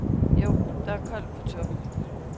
Jo, der er koldt på toppen.